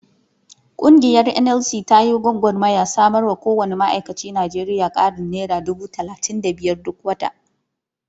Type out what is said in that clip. Ƙungiyar NLC ta yi gwagarmayar samarwa kowanne ma'aikacin Najeriya ƙarin naira dubu talatin da biyar duk wata.